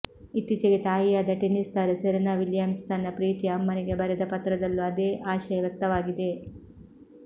ಇತ್ತೀಚೆಗೆ ತಾಯಿಯಾದ ಟೆನ್ನಿಸ್ ತಾರೆ ಸೆರೆನಾ ವಿಲಿಯಮ್ಸ್ ತನ್ನ ಪ್ರೀತಿಯ ಅಮ್ಮನಿಗೆ ಬರೆದ ಪತ್ರದಲ್ಲೂ ಅದೇ ಆಶಯ ವ್ಯಕ್ತವಾಗಿದೆ